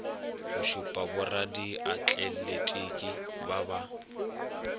go šupa boradiatletiki ba ba